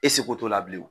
E seko t'o la bilen